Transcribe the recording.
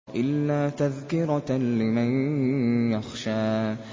إِلَّا تَذْكِرَةً لِّمَن يَخْشَىٰ